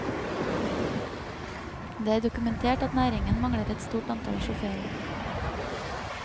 Det er dokumentert at næringen mangler et stort antall sjåfører.